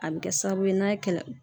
A bɛ kɛ sababu ye n'a ye kɛlɛ